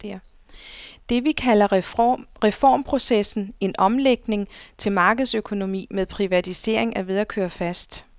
Det, vi kalder reformprocessen, en omlægning til markedsøkonomi med privatisering, er ved at køre fast.